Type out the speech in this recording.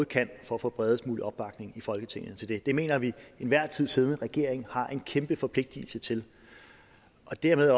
kan for at få bredest mulig opbakning i folketinget til det det mener vi enhver tid siddende regering har en kæmpe forpligtelse til og dermed